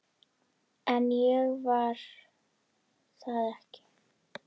En ég var það ekki.